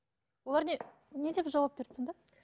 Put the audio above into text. олар не не деп жауап берді сонда